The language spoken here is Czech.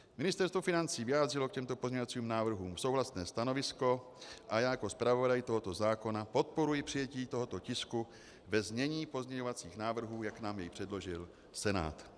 Ministerstvo financí vyjádřilo k těmto pozměňovacím návrhům souhlasné stanovisko a já jako zpravodaj tohoto zákona podporuji přijetí tohoto tisku ve znění pozměňovacích návrhů, jak nám je předložil Senát.